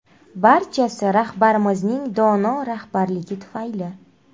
Barchasi rahbarimizning dono rahbarligi tufayli”.